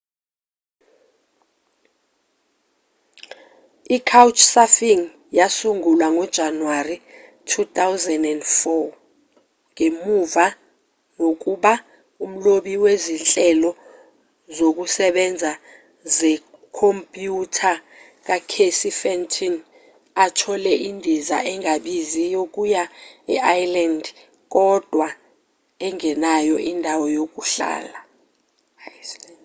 i-couchsurfing yasungulwa ngojanuwari 2004 ngemva kokuba umlobi wezinhlelo zokusebenza zekhompyutha ucasey fenton athole indiza engabizi yokuya e-iceland kodwa engenayo indawo yokuhlala